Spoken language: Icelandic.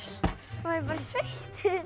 bara sveittur